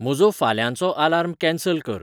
म्हजो फाल्यांचो alarm cancel कर